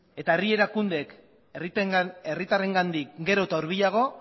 eta herri erakundeek herritarrengandik gero eta hurbilago